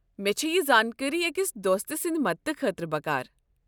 مےٚ چھےٚ یہ زانکٲری أکس دوستہٕ سٕنٛدِ مدتہٕ خٲطرٕ بكار ۔